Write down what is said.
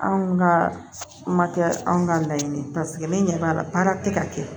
Anw ka make kɛ anw ka laɲini ye ne ɲɛ b'a la baara te ka kɛ